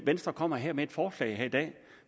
venstre kommer her med et forslag i dag